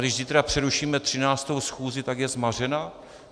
Když zítra přerušíme 13. schůzi, tak je zmařena?